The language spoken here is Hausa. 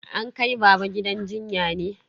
An kai baba gidan jinya ne?